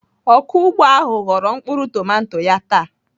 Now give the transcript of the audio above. Ọkụ ugbo ahụ ghọrọ mkpụrụ tomato ya taa.